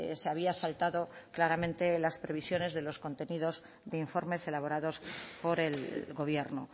se había saltado claramente las previsiones de los contenidos de informes elaborados por el gobierno